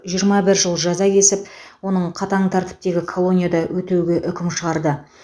жиырма бір жыл жаза кесіп оның қатаң тәртіптегі колонияда өтеуге үкім шығарды